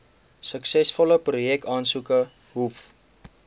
suksesvolle projekaansoeke hoef